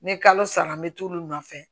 Ni kalo sara n bɛ t'olu nɔfɛ